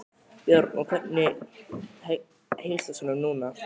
Björn: Og hvernig heilsast honum núna?